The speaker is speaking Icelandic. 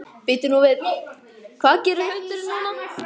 Bíddu nú við, hvað gerir hundurinn núna?